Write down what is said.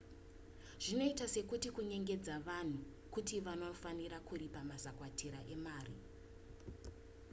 zvinoita sekuti kunyengedza vanhu kuti vanofanira kuripa mazakwatira emari